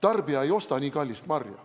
Tarbija ei osta nii kallist marja.